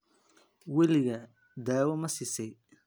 Waligaa daawo ma siisay?